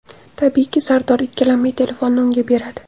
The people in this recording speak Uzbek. Tabiiyki, Sardor ikkilanmay telefonni unga beradi.